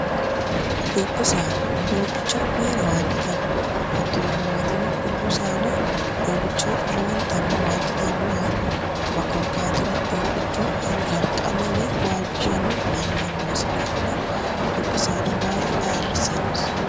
dubbu saada doobbicho maera waajjitanno hatto jiimaweetino dubbu saada doobbicho lowontanni waajjitanno yaate ma qorkaatino doobbichu harqanno woy waajjishanno maima noosi daafira dubbu saada baala ayirrissannosi